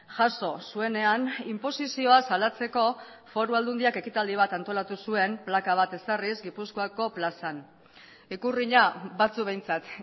jaso zuenean inposizioa salatzeko foru aldundiak ekitaldi bat antolatu zuen plaka bat ezarriz gipuzkoako plazan ikurrina batzuk behintzat